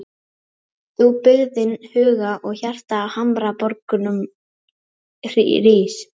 Þú byggðin huga og hjarta á hamraborgum rís.